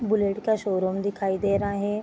Bullet का showroom दिखाई दे रहा है।